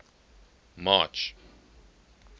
march